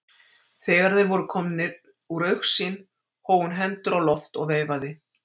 Þegar þeir voru nær komnir úr augsýn hóf hún hendur á loft og veifaði.